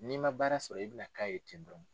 N'i man baara sɔrɔ i bɛ na k'a ye ten dɔrɔn.